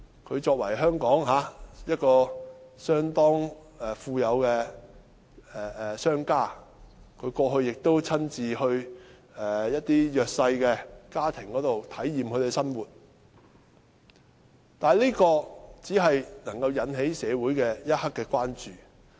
他作為在香港相當富有的商家，過去亦曾親身到訪弱勢家庭，並體驗他們的生活，但是，這只能引起社會一刻的關注。